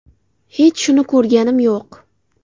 Hech shuni ko‘rganim yo‘q.